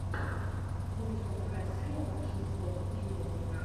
мультик анастасия багшинская в ютьюбе